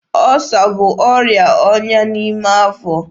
Ọsa bụ ọrịa ọnya n'ime afọ.